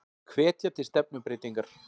Hvetja til stefnubreytingar